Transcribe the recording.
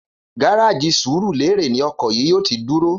Gáráàjì Sùrúlérè ni o̩kò̩ yìí yóò ti dúró